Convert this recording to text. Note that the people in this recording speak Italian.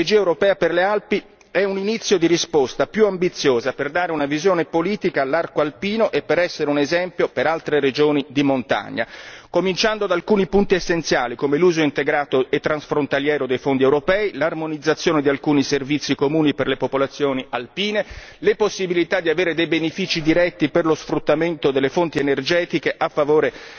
La strategia europea per le Alpi è un inizio di risposta più ambiziosa per dare una visione politica all'arco alpino e per essere un esempio per altre regioni di montagna, cominciando da alcuni punti essenziali, come l'uso integrato e transfrontaliero dei fondi europei, l'armonizzazione di alcuni servizi comuni per le popolazioni alpine, le possibilità di avere benefici diretti per lo sfruttamento delle fonti energetiche a favore